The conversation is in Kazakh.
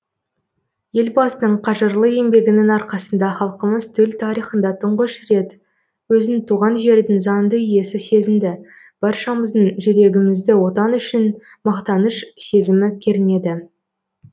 елбасының қажырлы еңбегінің арқасында халқымыз төл тарихында тұңғыш рет өзін туған жердің заңды иесі сезінді баршамыздың жүрегімізді отан үшін мақтаныш сезімі кернеді